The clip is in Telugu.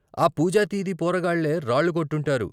ఆ పూజాతీది పోరగాళ్ళే రాళ్ళు కొట్టుంటారు.